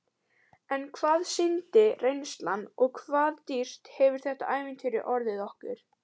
En hvað sýndi reynslan og hvað dýrt hefur þetta ævintýri orðið okkur?